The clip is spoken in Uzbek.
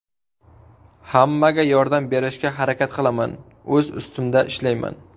Hammaga yordam berishga harakat qilaman, o‘z ustimda ishlayman.